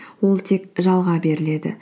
ол тек жалға беріледі